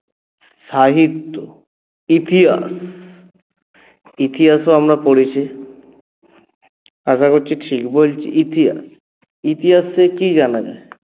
সাহিত্য ইতিহাস, ইতিহাসও আমরা পড়েছি আশা করছি ঠিক বলছি ইতিহাস ইতিহাসে কী জানা যায়?